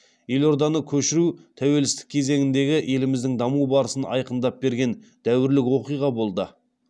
елорданы көшіру тәуелсіздік кезеңіндегі еліміздің даму барысын айқындап берген дәуірлік оқиға болды